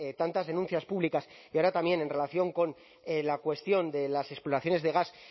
tantas denuncias públicas y ahora también en relación con la cuestión de las exploraciones de gas